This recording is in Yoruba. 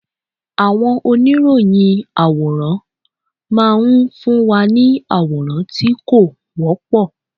Àwọn oníròyìn àwòrán máa ń fún wa ní àwòrán tí kò wọ́pọ̀.